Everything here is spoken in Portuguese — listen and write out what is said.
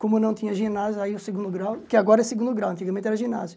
Como não tinha ginásio, aí o segundo grau, que agora é segundo grau, antigamente era ginásio.